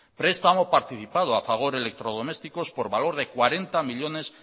prestamo participado a fagor electrodomésticos por valor de cuarenta millónes